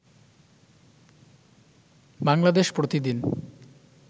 বাংলাদেশ প্রতি দিন